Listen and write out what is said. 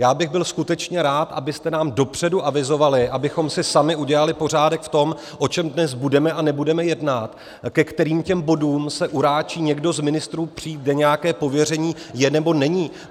Já bych byl skutečně rád, abyste nám dopředu avizovali, abychom si sami udělali pořádek v tom, o čem dnes budeme a nebudeme jednat, ke kterým těm bodům se uráčí někdo z ministrů přijít, kde nějaké pověření je, nebo není!